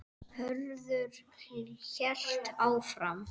Hörður hélt áfram